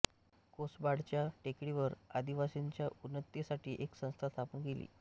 कोसबाडच्या टेकडीवर आदिवासींच्या उन्नतीसाठी एक संस्था स्थापन केली